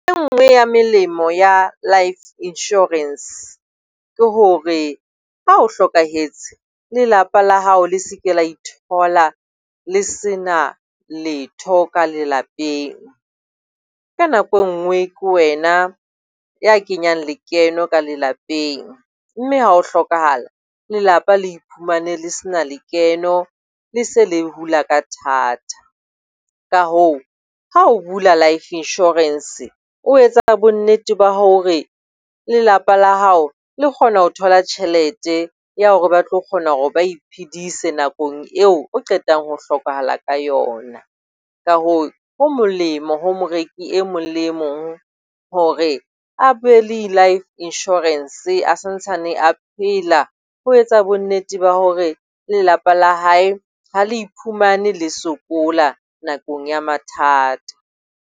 E nngwe ya melemo ya life insurance ke hore ha o hlokahetse, lelapa la hao le se ke la ithola le sena letho ka lelapeng. Ka nako e nngwe ke wena ya kenyang lekeno ka lelapeng, mme ha o hlokahala lelapa le iphumane le se na lekeno. Le se le hula ka thatha. Ka hoo, ha o bula life insurance o etsa bonnete ba hore lelapa la hao le kgona ho thola tjhelete ya ho re ba tlo kgona hore ba iphedise nakong eo o qetang ho hlokahala ka yona. Ka hoo ho molemo ho moreki e mong le mong hore a be le life insurance a santsane a phela. Ho etsa bonnete ba hore lelapa la hae ha le iphumane le sokola nakong ya mathata.